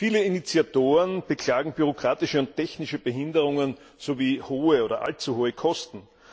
Viele Initiatoren beklagen bürokratische und technische Behinderungen sowie hohe oder allzu hohe Kosten.